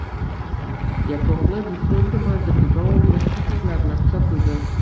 Yakovlev so‘nggi manzilga davomli qarsaklar bilan kuzatildi.